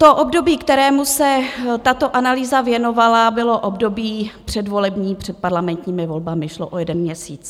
To období, kterému se tato analýza věnovala, bylo období předvolební před parlamentními volbami, šlo o jeden měsíc.